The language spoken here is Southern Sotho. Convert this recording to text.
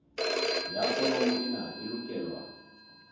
ya foromo ena e lokelwa